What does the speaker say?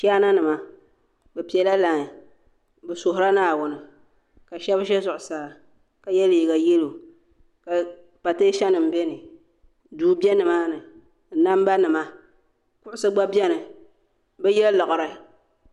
Chaana nima bɛ piɛ la lai bɛ suhirila naawuni ka sheba ʒɛ zuɣusaa ka ye liiga yelo ka pateesa nima biɛni duu be nimaani namba nima kuɣusi gba biɛni bɛ ya laɣari.